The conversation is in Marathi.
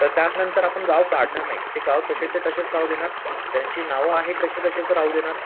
तर त्यानंतर आपण गाव काढणार नाही ते गाव तसेच्यातसे राहू देणार त्यांची नावं आहे तसेतसेच राहू देणार.